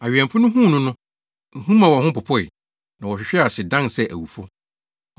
Awɛmfo no huu no no, ehu maa wɔn ho popoe, na wɔhwehwee ase, dan sɛ awufo.